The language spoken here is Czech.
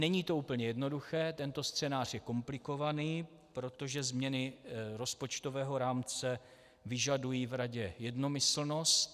Není to úplně jednoduché, tento scénář je komplikovaný, protože změny rozpočtového rámce vyžadují v Radě jednomyslnost.